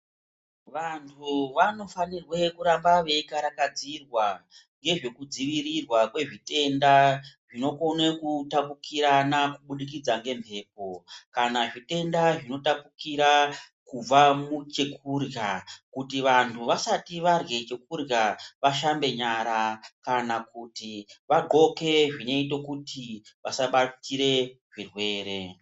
Vantu vanofanirwe kuramba veikarakadzirwa ngezvekudzirirwa kwezvitenda zvinokone kutapukirana kubudikidza ngemhepo. Kana zvitenda zvinotapukira kubva muchekurya kuti vantu vasati varye chekurya vashambe nyara. Kana kuti vadhloke zvinoite kuti vasabatire zvirwere.